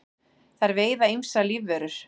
þær veiða ýmsar lífverur